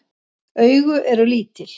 Augu eru lítil.